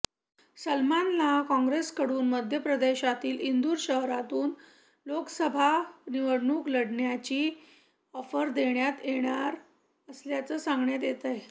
सलमानला काँग्रेसकडून मध्य प्रदेशातील इंदूर शहरातून लोकसभा निवडणूक लढवण्याची ऑफर देण्यात येणार असल्याचं सांगण्यात येतंय